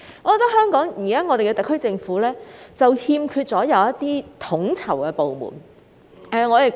我認為特區政府現時欠缺的是一個統籌部門。